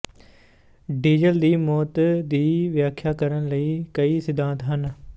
diesel ਦੀ ਮੌਤ ਦੀ ਵਿਆਖਿਆ ਕਰਨ ਲਈ ਕਈ ਸਿਧਾਂਤ ਹਨ